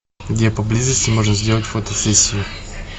где поблизости можно сделать фотосессию